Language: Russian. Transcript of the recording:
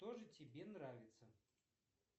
что же тебе нравится